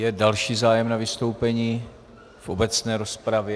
Je další zájem na vystoupení v obecné rozpravě?